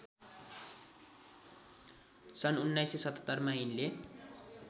सन् १९७७ मा यिनले